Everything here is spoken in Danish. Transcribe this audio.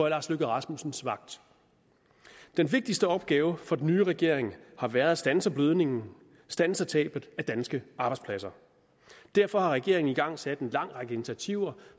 lars løkke rasmussens vagt den vigtigste opgave for den nye regering har været at standse blødningen standse tabet af danske arbejdspladser derfor har regeringen igangsat en lang række initiativer